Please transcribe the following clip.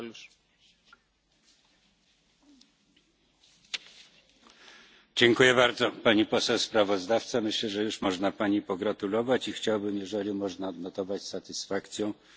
Myślę, że już można Pani pogratulować i chciałbym, jeśli można, odnotować z satysfakcją odpowiedzi pana komisarza, gdzie odniósł się on po nazwisku do podstawowych mówców grup politycznych.